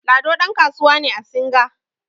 Lado ɗankasuwa ne a singa